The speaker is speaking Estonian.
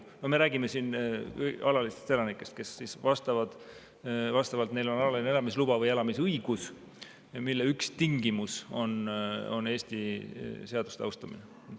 Me räägime siin alalistest elanikest, neil on Eestis kas alaline elamisluba või elamisõigus, mille üks tingimus on Eesti seaduste austamine.